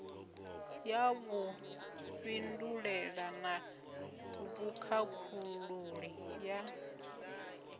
ya vhufhinduleli na vhukhakhululi ya